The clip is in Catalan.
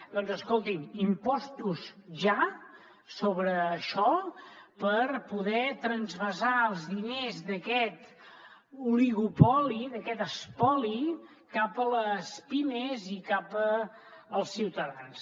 doncs escoltin impostos ja sobre això per poder transvasar els diners d’aquest oligopoli d’aquest espoli cap a les pimes i cap als ciutadans